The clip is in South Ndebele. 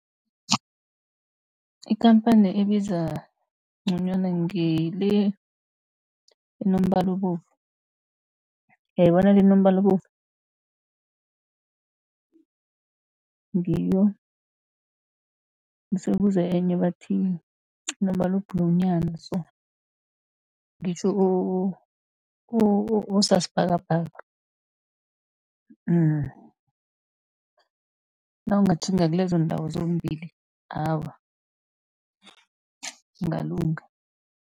Ikhamphani ebiza nconywana ngile enombala obovu, yayi bona le enombala obovu ngiyo. Bese kuze enye ebathi inombala o-blue nyana so ngitjho osasibhakabhaka, mm. Nawungatjhinga kilezo nndawo zombili awa ungalunga.